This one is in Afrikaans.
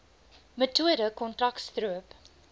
metode kontrak stroop